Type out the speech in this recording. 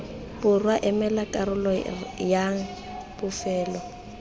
borwa emela karolo yay bofelo